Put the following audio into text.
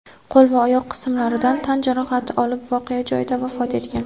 qo‘l va oyoq qismlaridan tan jarohati olib voqea joyida vafot etgan.